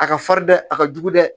A ka farin dɛ a ka jugu dɛ